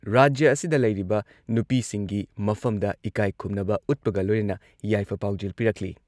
ꯔꯥꯖ꯭ꯌ ꯑꯁꯤꯗ ꯂꯩꯔꯤꯕ ꯅꯨꯄꯤꯁꯤꯡꯒꯤ ꯃꯐꯝꯗ ꯏꯀꯥꯏ ꯈꯨꯝꯅꯕ ꯎꯠꯄꯒ ꯂꯣꯏꯅꯅ ꯌꯥꯏꯐ ꯄꯥꯎꯖꯦꯜ ꯄꯤꯔꯛꯂꯤ ꯫